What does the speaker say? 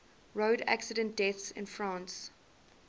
road accident deaths in france